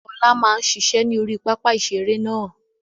Ọlá máa ń ṣiṣẹ́ ni orí pápá ìṣeré náà